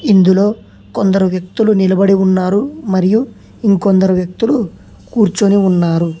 ఇందులో కొందరు వ్యక్తులు నిలబడి ఉన్నారు మరియు ఇంకొందరు వ్యక్తులు కూర్చుని ఉన్నారు.